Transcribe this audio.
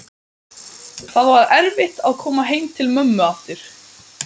Það var erfitt að koma heim til mömmu aftur.